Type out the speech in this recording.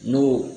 N'o